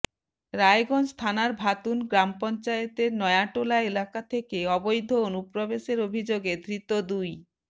রায়গঞ্জ থানার ভাতুন গ্রাম পঞ্চায়েতের নয়াটোলা এলাকা থেকে অবৈধ অনুপ্রবেশের অভিযোগে ধৃত দুই